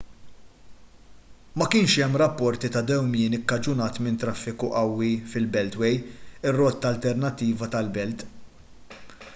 ma kienx hemm rapporti ta' dewmien ikkaġunat minn traffiku qawwi fil-beltway ir-rotta alternattiva tal-belt